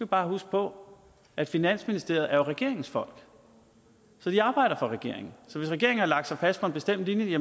bare huske på at finansministeriet jo er regeringens folk de arbejder for regeringen så hvis regeringen har lagt sig fast på en bestemt linje